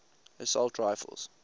assault rifles